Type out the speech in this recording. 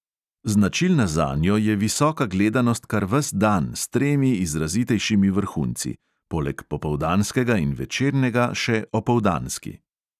Značilna zanjo je visoka gledanost kar ves dan s tremi izrazitejšimi vrhunci: poleg popoldanskega in večernega še opoldanski.